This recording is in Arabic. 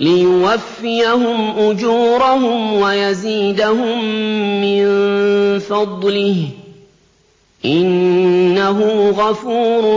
لِيُوَفِّيَهُمْ أُجُورَهُمْ وَيَزِيدَهُم مِّن فَضْلِهِ ۚ إِنَّهُ غَفُورٌ